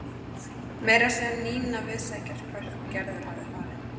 Meira að segja Nína vissi ekkert hvert Gerður hafði farið.